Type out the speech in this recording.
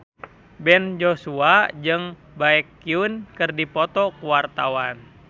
Ben Joshua jeung Baekhyun keur dipoto ku wartawan